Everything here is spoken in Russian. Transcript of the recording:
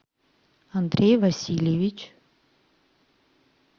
андрей васильевич